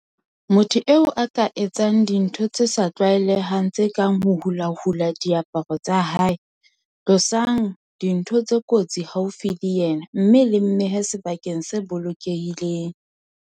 Motho eo a ka etsa dintho tse sa tlwaelehang tse kang ho hulahula diaparo tsa hae. "Tlosang dintho tse kotsi haufi le yena mme le mmehe sebakeng se bolokehileng."